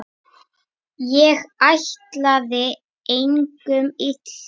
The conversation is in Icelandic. Ég ætlaði engum illt.